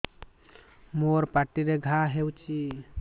ମୋର ପାଟିରେ ଘା ହେଇଚି